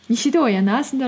нешеде оянасыңдар